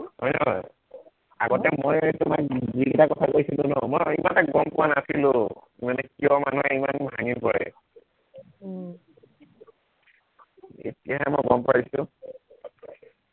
হয় নহয়, আগতে মই তোমাক যিকেইটা কথা কৈছিলো ন, মই ইমান গম পোৱা নাছিলো মানে কিয় মানুহে ইমান ভাঙি পৰে উম এতিয়া মই গম পাইছো